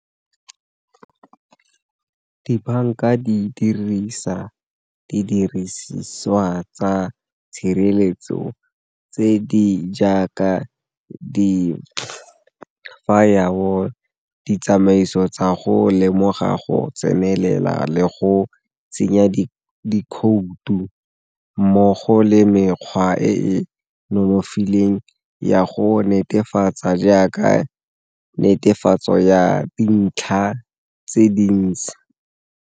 Dibanka di dirisa didiriswa tsa tshireletso tse di jaaka di , ditsamaiso tsa go lemoga go tsenelela le go tsenya dikhoutu mmogo le mekgwa e e nonofileng ya go netefatsa jaaka netefatso ya dintlha tse dintsi.